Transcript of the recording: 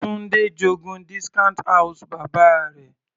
Tunde j'ogún discount house bàbá rẹ̀.